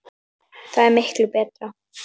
Það er miklu betra.